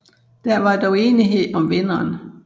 Der var dog enighed om vinderen